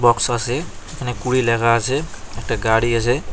আসে এখানে কুড়ি লেখা আসে একটা গাড়ি আসে।